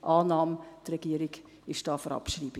die Regierung ist hier für Abschreibung.